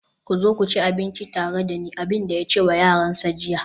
ku zo ku ci abinci tare da ni, abin da ya ce wa yaransa jiya